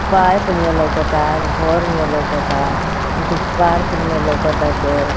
Pipe नेओ लौकता घर नियर लौकता इकुल पार्क नियर लउकताटे।